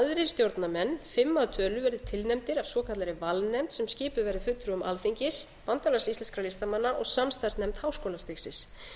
stjórnarmenn fimm að tölu verði tilnefndir af svokallaðri valnefnd sem skipuð verði fulltrúum alþingis bandalags íslenskra listamanna og samstarfsnefnd háskólastigsins